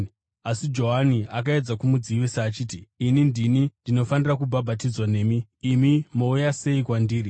Asi Johani akaedza kumudzivisa achiti, “Ini ndini ndinotofanira kubhabhatidzwa nemi, imi mouya sei kwandiri?”